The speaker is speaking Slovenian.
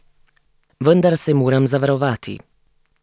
Vendar se moram zavarovati.